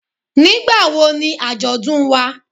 Nígbà wo ni Ajodun wá.?